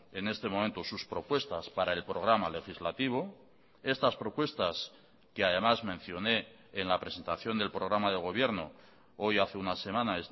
en este momento sus propuestas para el programa legislativo estas propuestas que además mencioné en la presentación del programa de gobierno hoy hace una semana